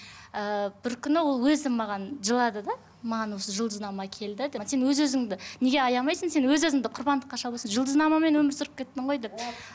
ыыы бір күні ол өзі маған жылады да маған осы жұлдызнама келді деп сен өз өзіңді неге аямайсың сен өз өзіңді құрбандыққа шалып жүрсің жұлдызнамамен өмір сүріп кеттің ғой деп